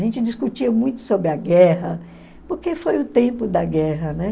A gente discutia muito sobre a guerra, porque foi o tempo da guerra, né?